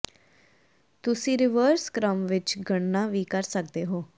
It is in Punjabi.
ਤੁਸੀਂ ਰਿਵਰਸ ਕ੍ਰਮ ਵਿੱਚ ਗਣਨਾ ਵੀ ਕਰ ਸਕਦੇ ਹੋ